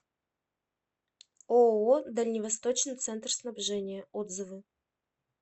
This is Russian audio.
ооо дальневосточный центр снабжения отзывы